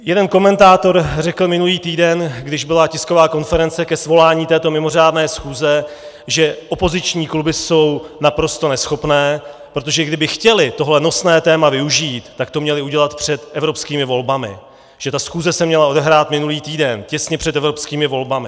Jeden komentátor řekl minulý týden, když byla tisková konference ke svolání této mimořádné schůze, že opoziční kluby jsou naprosto neschopné, protože kdyby chtěly tohle nosné téma využít, tak to měly udělat před evropskými volbami, že ta schůze se měla odehrát minulý týden těsně před evropskými volbami.